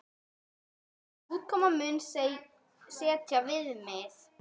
Útkoman muni setja viðmið.